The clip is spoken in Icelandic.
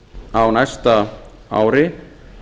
á næsta ári